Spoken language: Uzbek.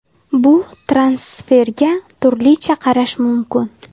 Bu transferga turlicha qarash mumkin.